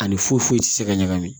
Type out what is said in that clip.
Ani foyi ti se ka ɲagami